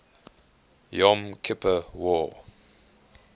yom kippur war